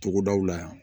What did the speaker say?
Togodaw la yan